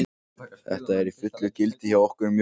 Þetta er í fullu gildi hjá okkur um jólin.